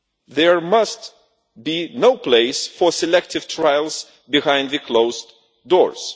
there must be no place for selective trials behind the closed doors.